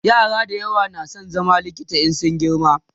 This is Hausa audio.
yara da yawa na San zama likita in sun girma